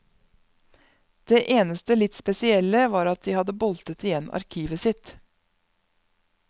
Det eneste litt spesielle var at de hadde boltet igjen arkivet sitt.